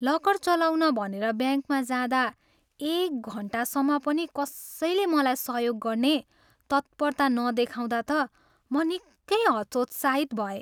Locker चलाउन भनेर ब्याङ्कमा जाँदा एक घन्टासम्म पनि कसैले मलाई सहयोग गर्ने तत्परता नदेखाउँदा त म निकै हतोत्साहित भएँ।